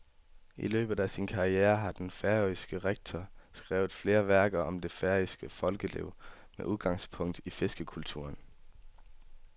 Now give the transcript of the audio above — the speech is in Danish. I løbet af sin karriere har den færøske rektor skrevet flere værker om det færøske folkeliv med udgangspunkt i fiskerkulturen.